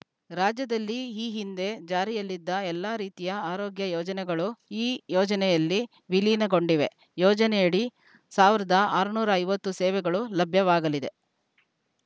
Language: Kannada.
ರಾಜ್ಯದಲ್ಲಿ ಈ ಹಿಂದೆ ಜಾರಿಯಲ್ಲಿದ್ದ ಎಲ್ಲಾ ರೀತಿಯ ಆರೋಗ್ಯ ಯೋಜನೆಗಳು ಈ ಯೋಜನೆಯಲ್ಲಿ ವಿಲೀನಗೊಂಡಿವೆ ಯೋಜನೆಯಡಿ ಸಾವಿರದ ಆರುನೂರ ಐವತ್ತು ಸೇವೆಗಳು ಲಭ್ಯವಾಗಲಿದೆ